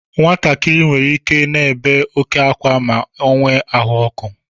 Nwatakịrị nwere ike I na-ébé oke ákwa ma o nwee ahụ ọkụ.